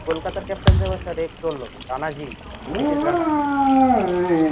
কলকাতার captain তো এবার রানাজি নিতিশ রানা